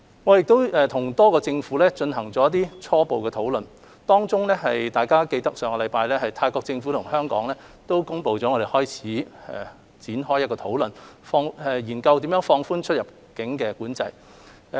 我們已和多個政府進行初步討論，當中，大家記得在上星期，泰國政府與香港開始展開討論，研究如何放寬出入境管制。